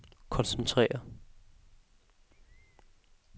koncentrere